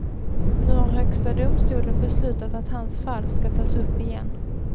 Nu har högsta domstolen beslutat att hans fall ska tas upp igen.